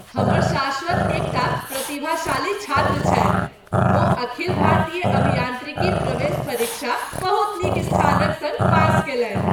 हमर शाश्वत एकटा प्रतिभाशाली छात्र छथि! ओ अखिल भारतीय अभियान्त्रिकी प्रवेश परीक्षा बहुत नीक स्थान क सङ्ग पास कयलनि।